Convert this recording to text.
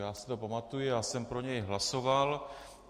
Já si to pamatuji, já jsem pro něj hlasoval.